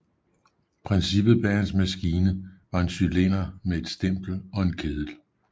Princippet bag hans maskine var en cylinder med et stempel og en kedel